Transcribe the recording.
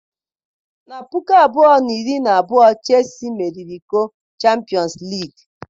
Na puku abụọ na iri na abụọ Chelsii meriri iko Champịọnsụ Liigii.